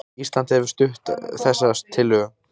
Ísland hefur stutt þessa tillögu